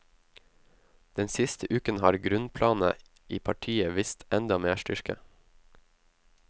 Den siste uken har grunnplanet i partiet vist enda mer styrke.